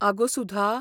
आगो, सुधा!